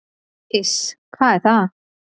"""Iss, hvað er það?"""